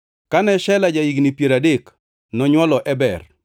Kane Shela ja-higni piero adek, nonywolo Eber.